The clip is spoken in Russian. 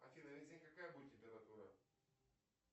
афина весь день какая будет температура